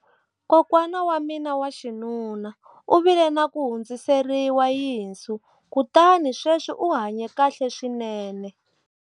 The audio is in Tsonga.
kokwana wa mina wa xinuna u vile na ku hundziseriwa yinsu kutani sweswi u hanye kahle swinene